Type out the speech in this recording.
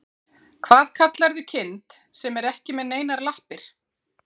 Hvað kallarðu kind sem er ekki með neinar lappir?